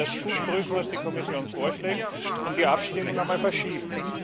Wir sollten das gut prüfen, was die Kommission vorschlägt, und die Abstimmung verschieben.